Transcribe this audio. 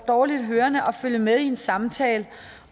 dårligt hørende at følge med i en samtale